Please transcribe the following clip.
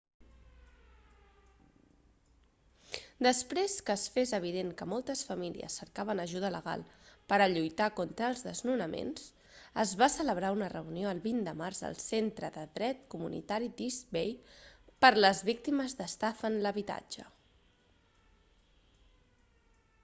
després que es fes evident que moltes famílies cercaven ajuda legal per a lluitar contra els desnonaments es va celebrar una reunió el 20 de març al centre de dret comunitari d'east bay per les víctimes d'estafa en l'habitatge